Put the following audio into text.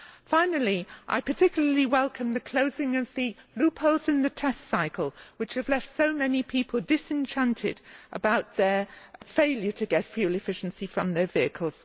Finally, I particularly welcome the closing of the loopholes in the test cycle, which have left so many people disenchanted about their failure to get fuel efficiency from their vehicles.